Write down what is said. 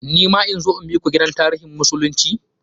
Ni ma in zo in biku gidan tarihin musulunci?